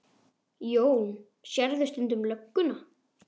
Jón: Sérðu stundum lögguna?